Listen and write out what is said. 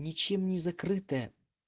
ничем не закрытая